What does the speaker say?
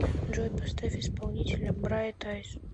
джой поставь исполнителя брайт айз